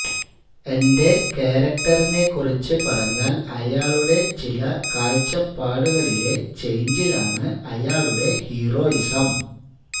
എന്റെ ക്യാരക്ടറിനെക്കുറിച്ച് പറഞ്ഞാല് അയാളുടെ ചില കാഴ്ചപ്പാടുകളിലെ ചെയ്ഞ്ചിലാണ് അയാളുടെ ഹീറോയിസം